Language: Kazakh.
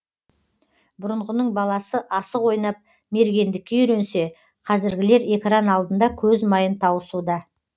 бұрынғының баласы асық ойнап мергендікке үйренсе қазіргілер экран алдында көз майын тауысуда